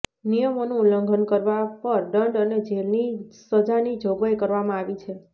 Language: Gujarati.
નિયમોનું ઉલ્લંઘન કરવા પર દંડ અને જેલની સજાની જોગવાઈ કરવામાં આવી છે